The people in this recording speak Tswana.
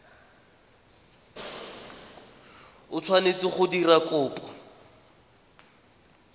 o tshwanetse go dira kopo